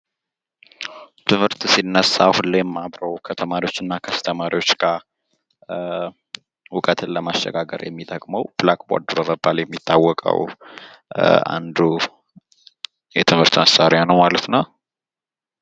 ትምህርት ሲነሳ ሁለም አብሮ ከተማሪዎች እና ከአስተማሪዎች ጋር እውቀትን ለማሸጋገር የሚጠቅመው ብላክቦርድ በመባል የሚታወቀው አንዱ የትምህርት መሳሪያ ነው ማለት ነው።